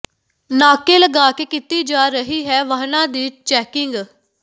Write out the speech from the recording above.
ਨਾਕੇ ਲਗਾ ਕੇ ਕੀਤੀ ਜਾ ਰਹੀ ਹੈ ਵਾਹਨਾਂ ਦੀ ਚੈਕਿੰਗ